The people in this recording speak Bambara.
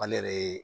An ne yɛrɛ ye